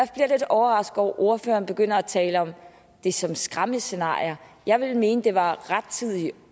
jeg lidt overrasket over at ordføreren begynder at tale om det som skræmmescenarier jeg ville mene det var rettidig